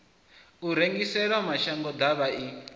u rengisela mashango ḓavha i